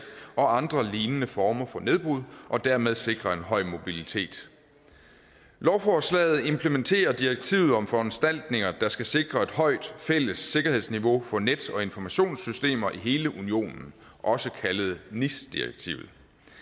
og andre lignende former for nedbrud og dermed sikre en høj mobilitet lovforslaget implementerer direktivet om foranstaltninger der skal sikre et højt fælles sikkerhedsniveau for net og informationssystemer i hele unionen også kaldet nis direktivet